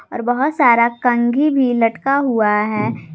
और बहोत सारा कंघी भी लटका हुआ है।